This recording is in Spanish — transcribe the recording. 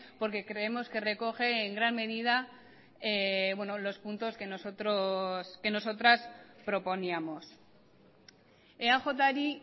porque creemos que recoge en gran medida los puntos que nosotros que nosotras proponíamos eajri